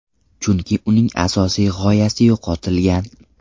Chunki uning asosiy g‘oyasi yo‘qotilgan.